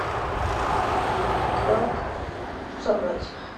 как соврать